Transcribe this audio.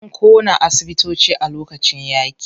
An ƙona asibitoci a lokacin yaƙi.